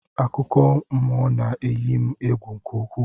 Akụkọmmụọ na-eyi m egwu nke ukwuu